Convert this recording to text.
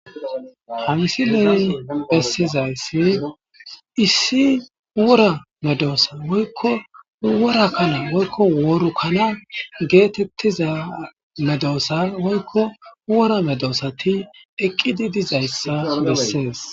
Hansi leri bessizayssi issi wora medoossa woykko wora kana woykko woru kana geetettiza medoossa woykko wora medoosati eqqidi dizayssa bessees.